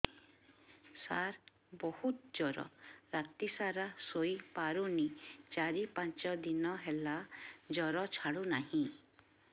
ସାର ବହୁତ ଜର ରାତି ସାରା ଶୋଇପାରୁନି ଚାରି ପାଞ୍ଚ ଦିନ ହେଲା ଜର ଛାଡ଼ୁ ନାହିଁ